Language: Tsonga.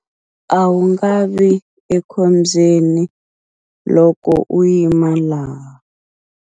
A wu nga vi ekhombyeni loko u yima laha.